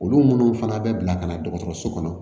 Olu minnu fana bɛ bila ka na dɔgɔtɔrɔso kɔnɔ